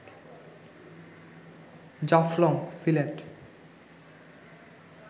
Jaflong Sylhet